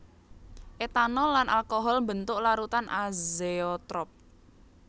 Etanol lan alkohol mbentuk larutan azeotrop